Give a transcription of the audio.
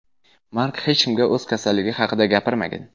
Mark hech kimga o‘z kasalligi haqida gapirmagan.